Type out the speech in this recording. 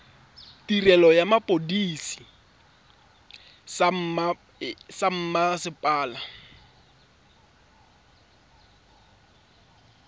tirelo ya sepodisi sa mmasepala